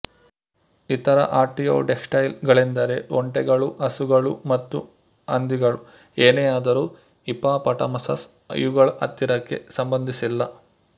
ಇತರ ಆರ್ಟೀಯೋಡ್ಯಾಕ್ಟೈಲ್ಸ್ ಗಳೆಂದರೆ ಒಂಟೆಗಳು ಹಸುಗಳು ಜಿಂಕೆ ಮತ್ತು ಹಂದಿಗಳು ಏನೇ ಆದರೂ ಹಿಪಾಪಟಮಸಸ್ ಇವುಗಳ ಹತ್ತಿರಕ್ಕೆ ಸಂಬಂದಿಸಿಲ್ಲ